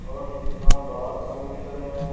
और कितना बड़ा समुंदर है।